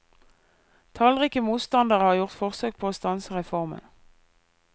Tallrike motstandere har gjort forsøk på å stanse reformen.